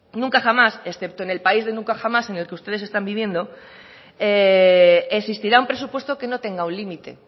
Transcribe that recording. nunca jamás excepto en el país de nunca jamás en el que ustedes están viviendo existirá un presupuesto que no tenga un límite